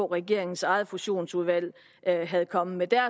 regeringens eget fusionsudvalg var kommet med